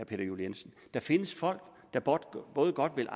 peter juel jensen der findes folk der både godt vil